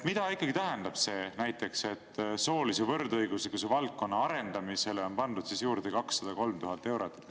Mida ikkagi tähendab näiteks see, et soolise võrdõiguslikkuse valdkonna arendamisele on pandud juurde 203 000 eurot?